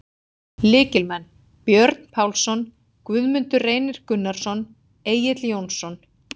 Lykilmenn: Björn Pálsson, Guðmundur Reynir Gunnarsson, Egill Jónsson.